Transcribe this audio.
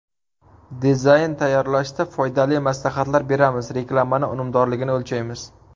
Dizayn tayyorlashda foydali maslahatlar beramiz, reklamani unumdorligini o‘lchaymiz.